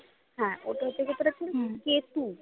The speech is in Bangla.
হ্যাঁ ওটা কেতু